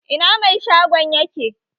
Ina mai shagon yake?